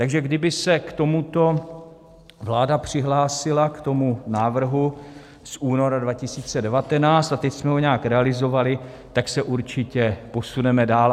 Takže kdyby se k tomuto vláda přihlásila, k tomu návrhu z února 2019, a teď jsme ho nějak realizovali, tak se určitě posuneme dál.